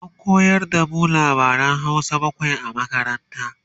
an koyar da mu labaran Hausa bakwai a makaranta